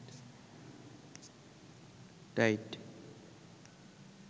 tight